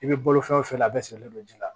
I bɛ bolo fɛn fɛn la a bɛɛ sigilen don ji la